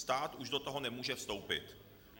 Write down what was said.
Stát už do toho nemůže vstoupit.